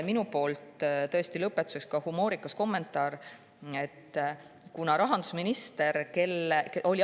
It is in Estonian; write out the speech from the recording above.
Minu poolt lõpetuseks üks humoorikas kommentaar.